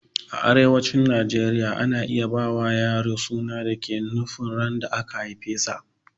A arewacin najeriya ana iya ba wa yaro suna da ke nufin ran da aka haifesa